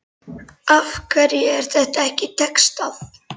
Af hverju er þetta ekki textað?